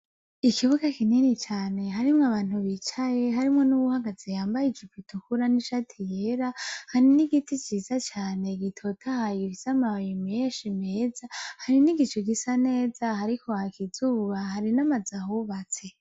Ikibuga kinini cane harimwo abantu bicaye, harimwo n'uwuhagaze yambaye ijipo itukura n'ishati yera. Hari n'igiti ciza cane gitotahaye, gifise amashami meshi meza. Hari n'igicu gisa neza, hariko haka izuba hari n'amazu ahubatse.